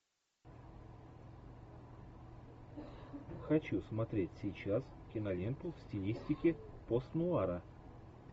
хочу смотреть сейчас киноленту в стилистике постнуара